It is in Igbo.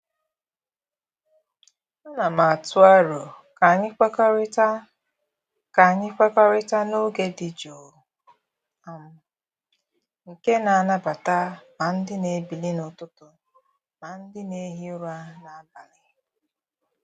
Ana m atụ aro ka anyị kwekọrịta ka anyị kwekọrịta na oge dị jụụ um nke na-anabata ma ndị na-ebili n'ụtụtụ ma ndị na-ehi ụra n'abalị.